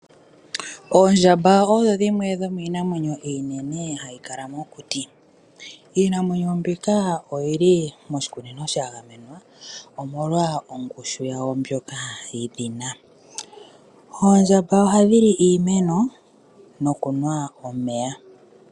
Oondjamba odho dhimwe dho miinamwenyo iinene, ha yi kala mokuti. Iinamwenyo mbika oyi li moshikunino sha gamenwa, omolwa ongushu yawo ndjoka yi dhina. Oondjamba oha dhi li iimeno nokunwa omeya.